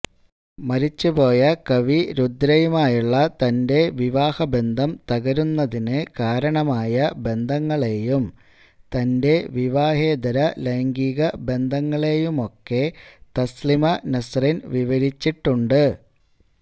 മരിച്ചുപോയ കവി രുദ്രയുമായുള്ള തന്റെ വിവാഹബന്ധം തകരുന്നതിനു കാരണമായ ബന്ധങ്ങളെയും തന്റെ വിവാഹേതര ലൈംഗിക ബന്ധങ്ങളെയുമൊക്കെ തസ്ലിമ നസ്റിന് വിവരിച്ചിട്ടുണ്ട്